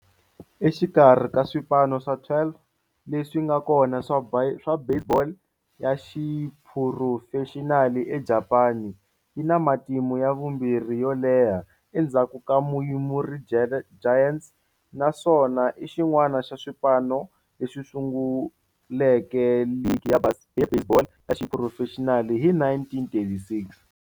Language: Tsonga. Exikarhi ka swipano swa 12 leswi nga kona swa baseball ya xiphurofexinali eJapani, yi na matimu ya vumbirhi yo leha endzhaku ka Yomiuri Giants, naswona i xin'wana xa swipano leswi sunguleke ligi ya baseball ya xiphurofexinali hi 1936.